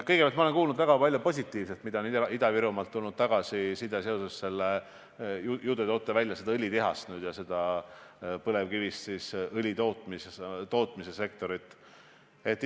Kõigepealt, ma olen kuulnud väga palju positiivset, mida on Ida-Virumaalt tulnud tagasisidena õlitehase rajamise ja põlevkivist õli tootmise sektori kohta.